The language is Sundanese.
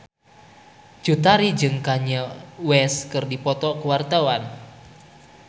Cut Tari jeung Kanye West keur dipoto ku wartawan